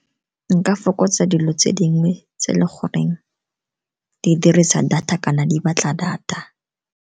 Nka fokotsa dilo tse dingwe tse e le goreng di dirisa data kana di batla data.